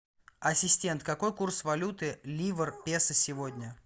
ассистент какой курс валюты ливр песо сегодня